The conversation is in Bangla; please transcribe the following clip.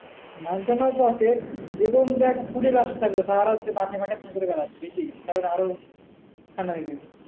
মানতো না বটে এবং দেখ সারা রাত মাঠে মাঠে ঘুরে বেড়াচ্ছে কারন আরো ঠান্ডা লেগে গেছে।